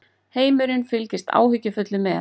Heimurinn fylgist áhyggjufullur með